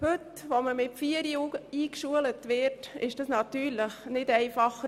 Heute, wo die Kinder schon mit vier Jahren eingeschult werden, ist das natürlich nicht einfacher.